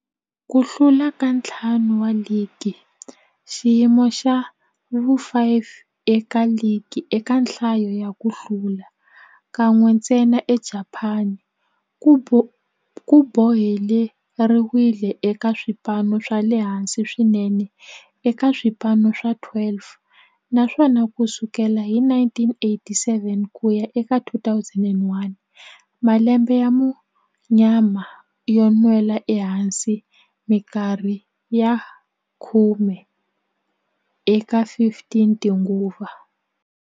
Ku hlula ka ntlhanu wa ligi, xiyimo xa vu-5 eka ligi eka nhlayo ya ku hlula, kan'we ntsena eJapani, ku boheleriwile eka swipano swa le hansi swinene eka swipano swa 12, naswona ku sukela hi 1987 ku ya eka 2001, malembe ya munyama yo nwela ehansi minkarhi ya khume eka 15 tinguva.